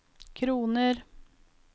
kroner